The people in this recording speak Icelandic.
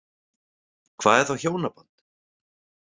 Hvað er þá hjónaband?